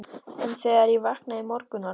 En þegar ég vaknaði í morgun var hún horfin.